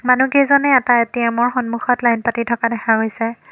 মানুহ কেইজনে এটা এ_টি_এম্ ৰ সন্মূখত লাইন পাতি থকা দেখা গৈছে।